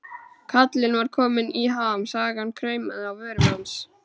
Kallinn var kominn í ham, sagan kraumaði á vörum hans.